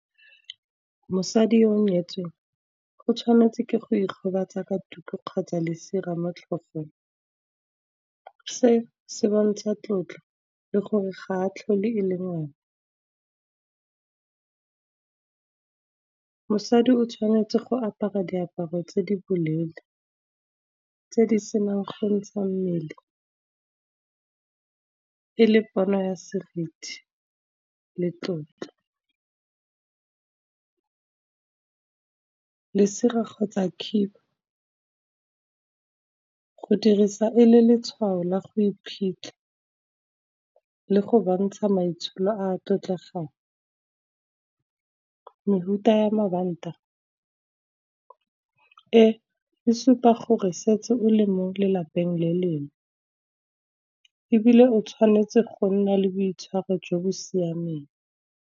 Mosadi yo o nyetsweng go tshwanetse ke go ikgobatsa ka tuku, kgotsa lesire mo tlhogong. Se se bontsha tlotlo le gore ga tlhole e le ngwana, mosadi o tshwanetse go apara diaparo tse di bolele tse di senang gontsha mmele, e le pono ya seriti le tlotlo. Lesira kgotsa khiba, go dirisa e le letshwao la go iphitlha, le go bontsha maitsholo a tlotlegang. Mefuta ya mabanta e e supa gore setse o le mo lelapeng le lengwe, ebile o tshwanetse go nna le boitshwaro jo bo siameng.